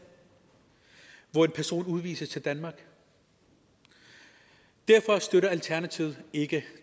hvor en person udvises til danmark derfor støtter alternativet ikke